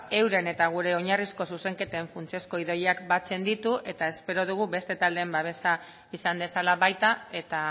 euren eta gure oinarrizko zuzenketen funtsezko ideiak batzen ditu eta espero dugu beste taldeen babesa izan dezala baita eta